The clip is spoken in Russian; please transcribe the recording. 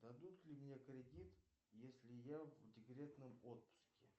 дадут ли мне кредит если я в декретном отпуске